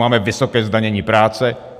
Máme vysoké zdanění práce.